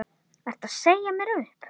Ertu að segja mér upp?